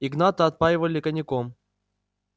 игната отпаивали коньяком